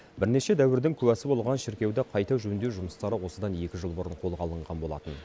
бірнеше дәуірдің куәсі болған шіркеуді қайта жөндеу жұмыстары осыдан екі жыл бұрын қолға алынған болатын